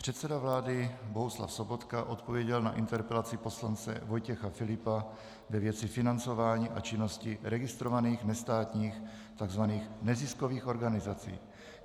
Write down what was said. Předseda vlády Bohuslav Sobotka odpověděl na interpelaci poslance Vojtěcha Filipa ve věci financování a činnosti registrovaných nestátních tzv. neziskových organizací.